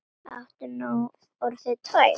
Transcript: Áttu nú orðið tvær?